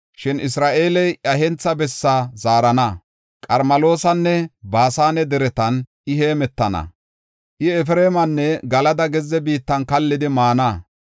Shin Isra7eele, iya hentha bessaa zaarana; Qarmeloosanne Baasane Deretan I heemetana. I Efreemanne Galada gezze biittan kallidi maana.